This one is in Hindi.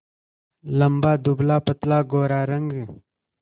लंबा दुबलापतला गोरा रंग